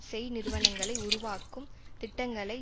செய் நிறுவனங்களை உருவாக்கும் திட்டங்களை